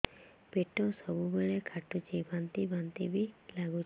ପେଟ ସବୁବେଳେ କାଟୁଚି ବାନ୍ତି ବାନ୍ତି ବି ଲାଗୁଛି